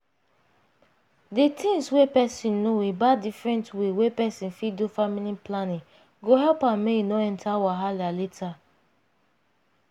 di things wey peson know about different way wey peson fit do family planning go help am make e no enta wahala later.